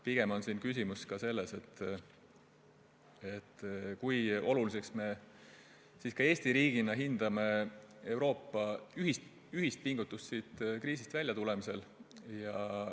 Pigem on siin küsimus selles, kui oluliseks me Eesti riigina peame Euroopa ühist pingutust kriisist väljatulemisel.